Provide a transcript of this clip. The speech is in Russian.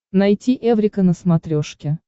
найти эврика на смотрешке